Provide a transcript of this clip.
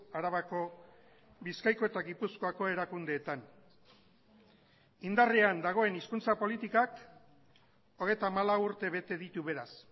arabako bizkaiko eta gipuzkoako erakundeetan indarrean dagoen hizkuntza politikak hogeita hamalau urte bete ditu beraz